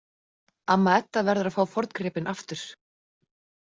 Amma Edda verður að fá forngripinn aftur.